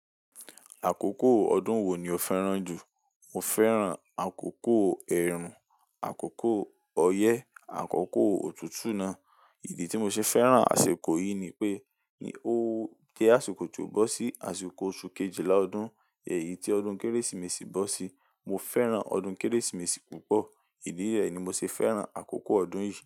Àkókò ọdún wo ni o fẹ́ràn jù? Mo fẹ́ràn àkókò ẹ̀rùn, àkókò ọyẹ́, àkókò òtútù náà. Ìdí tí mo ṣe fẹ́ràn àsìkò yìí ni pé ní o jẹ àsìkò tó bọ́ sí, àsìkò oṣù Kejìlá ọdún, ẹyi tí ọdún Kérésìmesì bọ́ sí. Mo fẹ́ràn ọdún Kérésìmesì púpọ̀. Ìdí rẹ̀ ni mo ṣe fẹ́ràn àkókò ọdún yìí.